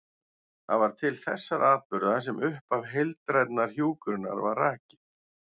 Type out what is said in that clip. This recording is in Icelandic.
Það var til þessara atburða sem upphaf heildrænnar hjúkrunar var rakið.